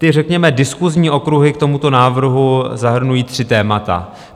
Ty řekněme diskusní okruhy k tomuto návrhu zahrnují tři témata.